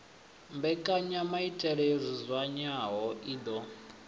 mbekanyamaitele yo dzudzanywaho i ḓo